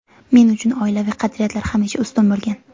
Men uchun oilaviy qadriyatlar hamisha ustun bo‘lgan.